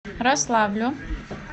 рославлю